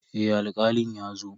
Eh Alkalin ya zo.